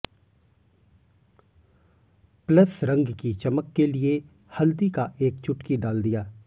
plus रंग की चमक के लिए हल्दी का एक चुटकी डाल दिया